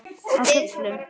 Á köflum.